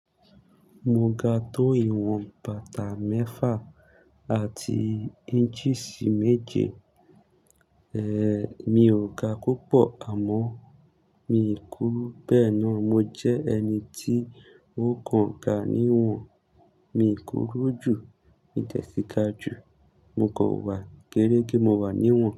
Mo ga tó ìwọ̀n bàtà mẹ́fà àti inches méje. Èé, mi ò ga púpọ̀ àmọ́ mi kúrú. Bẹ́ẹ̀ ni mo jẹ́ ẹni tí ó kàn ga níwọ̀n, mi kúrú jù, mi dè sì ga jù, mo kò wà géérégé, mo wà níwọ̀n.